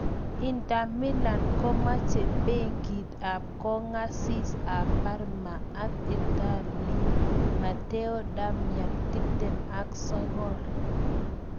Inter Milan komache Beki ab kongasis ab Parma ak Itali Matteo Darmian, 29.